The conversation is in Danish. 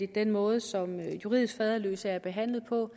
den måde som juridisk faderløse er behandlet på